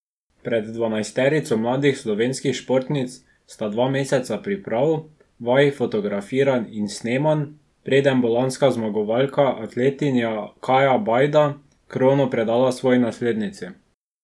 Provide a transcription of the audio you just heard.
Pred dvanajsterico mladih slovenskih športnic sta dva meseca priprav, vaj, fotografiranj in snemanj, preden bo lanska zmagovalka, atletinja Kaja Bajda, krono predala svoji naslednici.